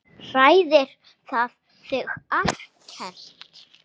Hræðir það þig ekkert?